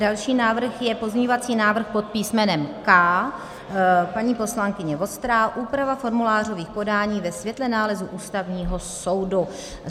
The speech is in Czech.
Další návrh je pozměňovací návrh pod písmenem K, paní poslankyně Vostrá, úprava formulářových podání ve světle nálezu Ústavního soudu.